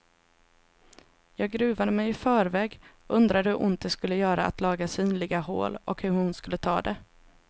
Jag gruvade mig i förväg, undrade hur ont det skulle göra att laga synliga hål och hur hon skulle ta det.